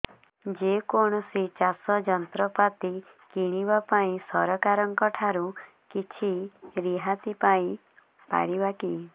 ଯେ କୌଣସି ଚାଷ ଯନ୍ତ୍ରପାତି କିଣିବା ପାଇଁ ସରକାରଙ୍କ ଠାରୁ କିଛି ରିହାତି ପାଇ ପାରିବା କି